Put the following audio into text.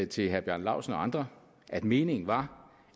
til herre bjarne laustsen og andre at meningen var